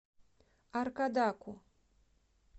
аркадаку